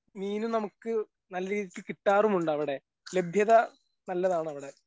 മീനും നമുക്ക് നല്ല രീതിക്ക് കിട്ടാറുമുണ്ടവിടെ ലഭ്യത നല്ലതാണവിടെ.